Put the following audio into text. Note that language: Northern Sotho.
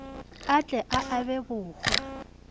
a tle a abe bohwa